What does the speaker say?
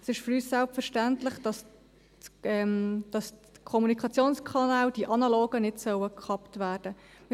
Für uns ist es selbstverständlich, dass die analogen Kommunikationskanäle nicht gekappt werden sollen.